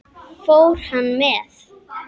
Fór hann með?